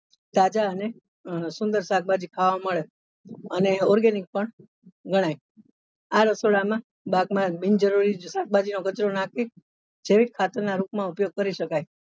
તાઝા અને સુંદર શાકભાજી ખાવા મળે અને organic પણ ગણાય આ રસોડા માં માં બિનજરૂરી શાકભાજી નો કચરો નાખી જૈવિક ખાતર ના રૂપ માં ઉપયોગ કરી શકાય.